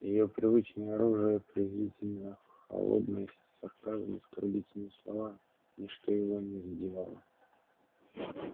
её привычное оружие презрительная холодность сарказм оскорбительные слова ничто его не задевало